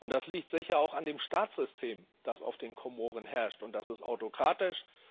Das liegt sicher auch an dem Staatssystem, das auf den Komoren herrscht, und das ist autokratisch.